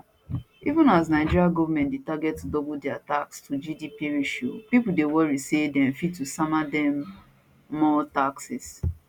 even as nigeria goment dey target to double dia tax to gdp ration pipo dey worry say dem fit to sama dem more taxes